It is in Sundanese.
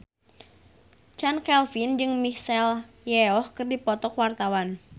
Chand Kelvin jeung Michelle Yeoh keur dipoto ku wartawan